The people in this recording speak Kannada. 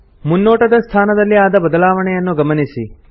ಮುನ್ನೋಟದ ಸ್ಥಾನದಲ್ಲಿ ಆದ ಬದಲಾವಣೆಯನ್ನು ಗಮನಿಸಿ